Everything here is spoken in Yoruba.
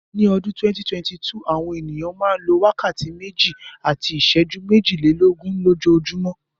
Ní ọdún 2022, àwọn ènìyàn a máa lo wákàtí méjì àti iṣẹ́jú méjìlelógún lójoojúmọ́.